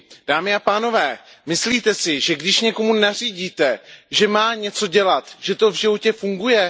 Dámy a pánové, myslíte si, že když někomu nařídíte, že má něco dělat, že to v životě funguje?